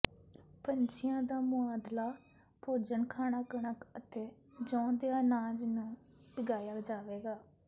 ਪੰਛੀਆਂ ਦਾ ਸੁਆਦਲਾ ਭੋਜਨ ਖਾਣਾ ਕਣਕ ਅਤੇ ਜੌਂ ਦੇ ਅਨਾਜ ਨੂੰ ਉਗਾਇਆ ਜਾਵੇਗਾ